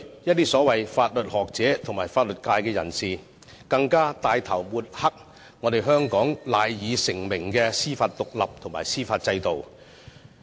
一些所謂法律學者和法律界人士，更帶頭抹黑香港蜚聲國際的獨立司法制度。